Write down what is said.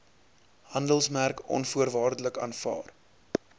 handelsmerk onvoorwaardelik aanvaar